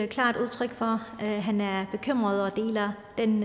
klart udtryk for at han er bekymret og deler den